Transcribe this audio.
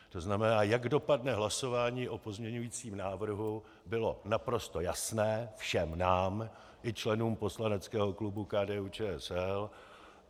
To znamená, jak dopadne hlasování o pozměňujícím návrhu, bylo naprosto jasné všem nám i členům poslaneckého klubu KDU-ČSL.